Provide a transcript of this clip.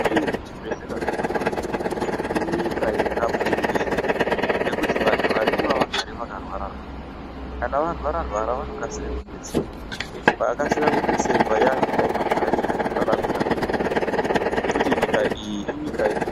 Inezvibhedhlera zvakawanda inyika yakabudirira ngekuti vantu varimwo havagari vakarwara rwara, kana varwara rwara vanokasire kubetserwa vakakasika kubetserwa yanyika inigarika nekuraramika zvakanaka nekuti nyika iyi inyika ine....